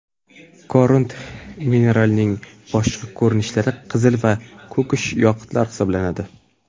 Korund mineralining boshqa ko‘rinishlari qizil va ko‘kish yoqutlar hisoblanadi.